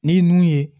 Ni nun ye